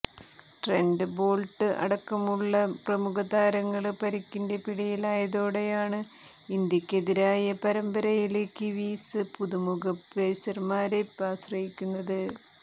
Trent Boult അടക്കമുള്ള പ്രമുഖ താരങ്ങള് പരിക്കിന്റെ പിടിയിലായതോടെയാണ് ഇന്ത്യക്കെതിരായ പരമ്പരയില് കിവീസ് പുതുമുഖ പേസര്മാരെ ആശ്രയിക്കുന്നത്